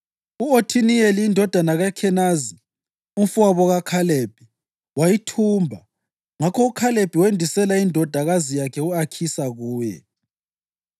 U-Othiniyeli indodana kaKhenazi, umfowabo kaKhalebi, wayithumba; ngakho uKhalebi wendisela indodakazi yakhe u-Akhisa kuye.